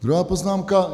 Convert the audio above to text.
Druhá poznámka.